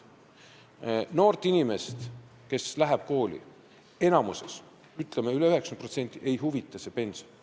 Noori inimesi, kes astuvad kooli, ütleme, üle 90% neist ei huvita pension.